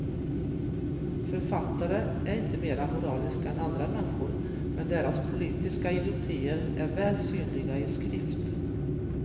Författare är inte mera moraliska än andra människor, men deras politiska idiotier är väl synliga i skrift.